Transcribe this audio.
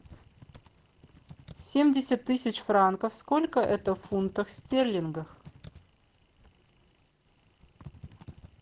семьдесят тысяч франков сколько это в фунтах стерлингов